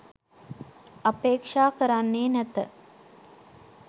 අපේක්ෂා කරන්නේ නැත